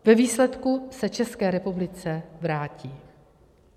Ve výsledku se České republice vrátí.